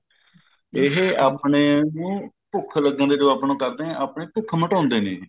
ਇਹ ਆਪਣੇ ਭੁੱਖ ਲੱਗਣ ਤੇ ਜਦੋਂ ਆਪਾਂ ਨੂੰ ਕਰਦੇ ਹੈ ਆਪਣੀ ਭੁੱਖ ਮਿਟਾਉਂਦੇ ਨੇ ਜੀ